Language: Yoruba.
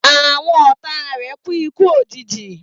Àwọn ọ̀táa rè kù iku òjijì